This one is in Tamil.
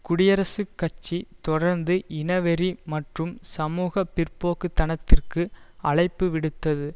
குடியரசுக் கட்சி தொடர்ந்து இனவெறி மற்றும் சமூக பிற்போக்கு தனத்திற்கு அழைப்பு விடுத்தது